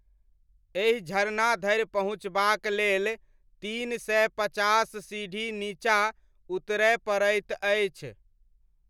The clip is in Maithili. एहि झरना धरि पहुँचबाक लेल तीन सय पचास सीढ़ी नीचाँ उतरय पड़ैत अछि।